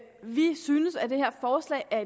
vi synes at det her forslag er